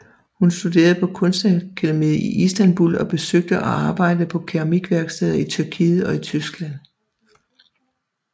Hun studerede på kunstakademiet i Istanbul og besøgte og arbejdede på keramikværksteder i Tyrkiet og Tyskland